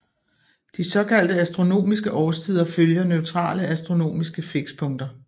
De såkaldte astronomiske årstider følger neutrale astronomiske fikspunkter